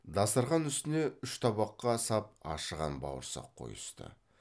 дастарқан үстіне үш табаққа сап ашыған бауырсақ қойысты